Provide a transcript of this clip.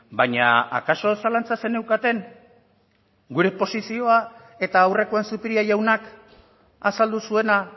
baina akaso zalantza zeneukaten gure posizioa eta aurrekoan zupiria jaunak azaldu zuena